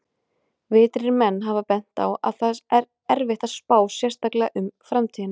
Vitrir menn hafa bent á að það er erfitt að spá, sérstaklega um framtíðina!